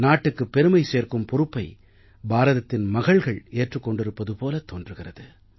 நாட்டுக்குப் பெருமை சேர்க்கும் பொறுப்பை பாரதத்தின் மகள்கள் ஏற்றுக் கொண்டிருப்பது போலத் தோன்றுகிறது